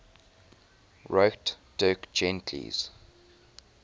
wrote dirk gently's